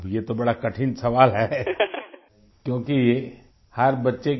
अब ये तो बड़ा कठिन सवाल है क्योंकि हर बच्चे